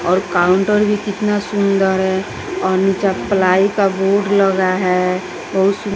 और काउंटर भी कितना सुंदर है और नीचे प्लाई का बोर्ड लगा है बहुत सु--